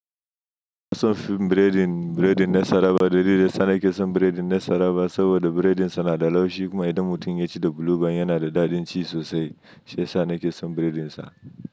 Na fi son chin ɓiredin, ɓiredin Nassarawa. Dalilin da ya sa nake son ɓiredin Nassarawa saboda ɓiredin sa na da laushi kuma idan mutum ya ci da bulu ban yana da daɗin ci sosai. Shi ya sa nake son ɓiredin sa.